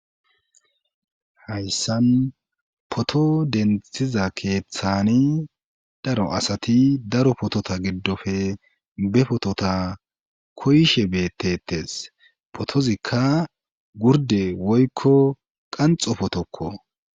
hayssan poto denthiza keeththani daro asati daro potota giddofe be potota koyshe beettetes potozikka gurde woykko qanxo potokko